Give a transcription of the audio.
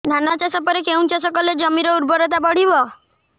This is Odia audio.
ଧାନ ଚାଷ ପରେ କେଉଁ ଚାଷ କଲେ ଜମିର ଉର୍ବରତା ବଢିବ